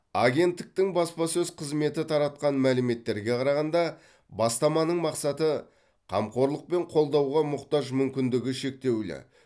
агенттіктің баспасөз қызметі таратқан мәліметтерге қарағанда бастаманың мақсаты қамқорлық пен қолдауға мұқтаж мүмкіндігі шектеулі